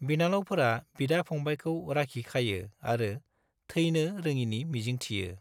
बिनानावफोरा बिदा/फंबायखौ राखि खायो आरो थैनो रोङिनि मिजिंथियो।